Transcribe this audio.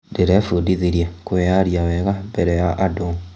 Ndĩrebundithirie kwĩyaria wega mbere ya andũ.